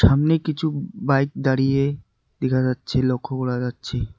সামনে কিছু বাইক দাঁড়িয়ে দেখা যাচ্ছে লক্ষ করা যাচ্ছে।